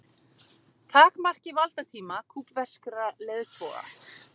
Takmarki valdatíma kúbverskra leiðtoga